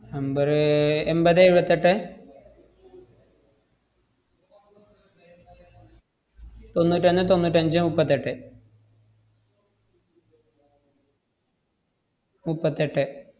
number റ് എമ്പതേ ഏഴുവത്തെട്ടെ തൊണ്ണൂറ്റൊന്ന് തൊണ്ണൂറ്റഞ്ച് മുപ്പത്തെട്ടെ മുപ്പത്തെട്ടെ.